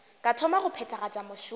ka thoma go phethagatša mešomo